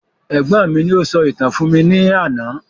Ẹ̀gbọ́n mi ni o sọ ìtàn fún mi ní àná